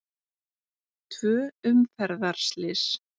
Tvö umferðarslys